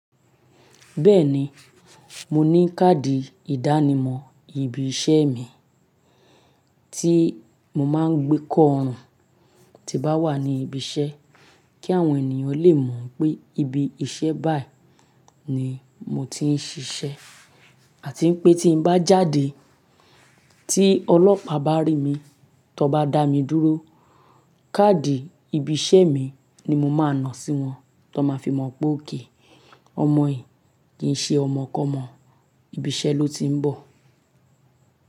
Bẹ́ẹ̀ni, mo ní káàdì ìdánimọ̀ ibi iṣẹ́ mi tí mo máa ń gbé kọ́ ọrùn tí bá wà ní ibi iṣẹ́ kí àwọn ènìyàn lè mọ̀ pé ibi iṣẹ́ báyìí ni mo ti ń ṣiṣẹ́ àti pé tí n bá jáde tí ọlọ́pàá bá rí mi, tí wón bá dá mi dúró, káàdì ibi iṣẹ́ mi ni mo máa nà sí wọn ti wọ́n máa fi mọ̀ pé okay, ọmọ yìí kì í ṣe ọmọkọ́mọ, ibi iṣẹ́ ló ti ń bọ̀.